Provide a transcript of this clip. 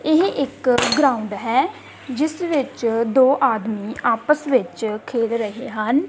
ਏਹ ਇੱਕ ਗਰਾਊਂਡ ਹੈ ਜਿੱਸ ਦੇ ਵਿੱਚ ਦੋ ਆਦਮੀ ਆਪਸ ਵਿੱਚ ਖੇਲ ਰਹੇ ਹਨ।